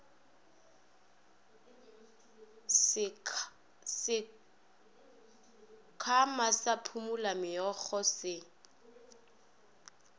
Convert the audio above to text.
sekhwama sa phumula meokgo se